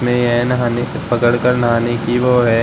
नहाने की पकड़ कर नहाने की वो है।